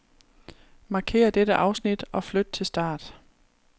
Markér dette afsnit og flyt til start.